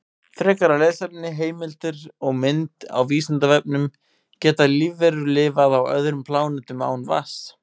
Frekara lesefni, heimildir og mynd á Vísindavefnum: Geta lífverur lifað á öðrum plánetum án vatns?